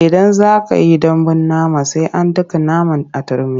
Idan za ka yi dambun nama sai an daka naman a turmi.